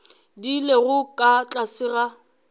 di lego ka tlase ga